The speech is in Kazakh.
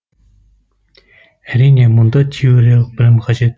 әрине мұнда теориялық білім қажет